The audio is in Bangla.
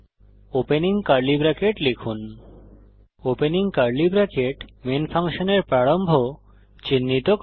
ওপেন কার্লি ব্রেকেট লিখুন ওপেনিং কার্লি ব্রেকেট মেন ফাংশনের প্রারম্ভ চিহ্নিত করে